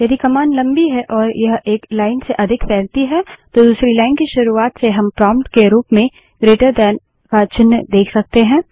यदि कमांड लम्बी है और यह एक लाइन से अधिक फैलती है तो दूसरी लाइन की शुरूआत से हम प्रोंप्ट के रूप में ग्रेटर दैन का चिन्ह जीटी देख सकते हैं